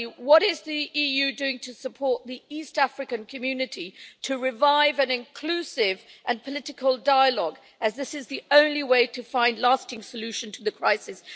Firstly, what is the EU doing to support the East African Community to revive an inclusive and political dialogue, as this is the only way to find a lasting solution to the crisis?